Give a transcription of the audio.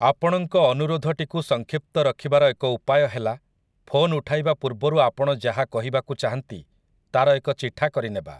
ଆପଣଙ୍କ ଅନୁରୋଧଟିକୁ ସଂକ୍ଷିପ୍ତ ରଖିବାର ଏକ ଉପାୟ ହେଲା, ଫୋନ୍ ଉଠାଇବା ପୂର୍ବରୁ ଆପଣ ଯାହା କହିବାକୁ ଚାହାଁନ୍ତି ତା'ର ଏକ ଚିଠା କରିନେବା ।